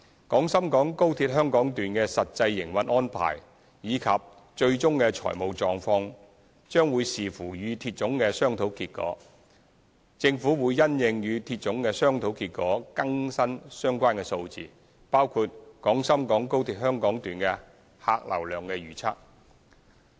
廣深港高鐵香港段的實際營運安排及最終的財務狀況將視乎與鐵總的商討結果，政府會因應與鐵總的商討結果更新相關數字，包括廣深港高鐵香港段的客流量預測。